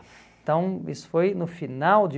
Então, isso foi no final de